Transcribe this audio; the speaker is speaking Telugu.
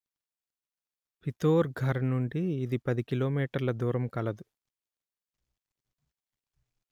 పితోర్ ఘర్ నుండి ఇది పది కిలో మీటర్ల దూరం కలదు